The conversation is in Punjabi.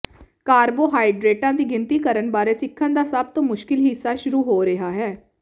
ਕਾਰਬੋਹਾਈਡਰੇਟਾਂ ਦੀ ਗਿਣਤੀ ਕਰਨ ਬਾਰੇ ਸਿੱਖਣ ਦਾ ਸਭ ਤੋਂ ਮੁਸ਼ਕਿਲ ਹਿੱਸਾ ਸ਼ੁਰੂ ਹੋ ਰਿਹਾ ਹੈ